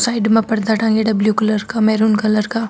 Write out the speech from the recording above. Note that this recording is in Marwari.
साइड में पर्दा टाँगेडा ब्लू कलर का मेरून कलर का।